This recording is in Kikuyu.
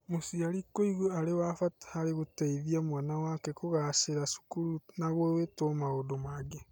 Mũciari kũigua arĩ wa bata harĩ gũteithia mwana wake kũgaacĩra cukuru na gwĩtwo maũndũ mangĩ.